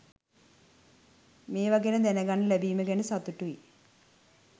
මේව ගැන දැනගන්න ලැබීම ගැන සතුටුයි